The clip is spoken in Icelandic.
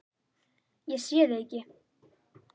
Ég sé þig ekki.